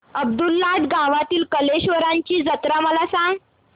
अब्दुललाट गावातील कलेश्वराची जत्रा मला सांग